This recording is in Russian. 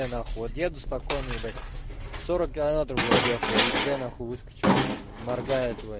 э нахуй деду спокойной ебать сорок километров блять ехал и д выскачела нахуй выскочила моргает ебать